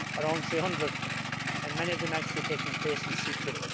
around 300 and many of them actually taking place in secret.